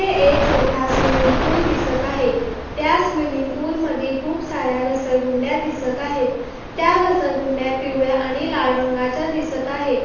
हे एक मोट्ठा स्विमिंग पूल दिसत आहे त्या स्विमिंग पूल मधी खूपसार्‍या घसरगुंड्या दिसत आहेत. त्या घसरगुंड्या पिवळ्या आणि लाल रंगाच्या दिसत आहे.